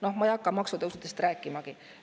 Noh, ma ei hakka maksutõusudest rääkimagi.